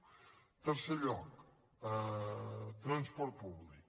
en tercer lloc transport públic